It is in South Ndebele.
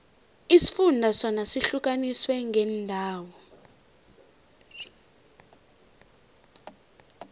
isifunda sona sihlukaniswe ngeendawo